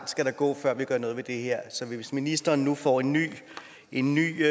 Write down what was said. skal der gå før vi gør noget ved det her hvis ministeren nu får en ny en ny